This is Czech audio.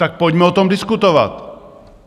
Tak pojďme o tom diskutovat.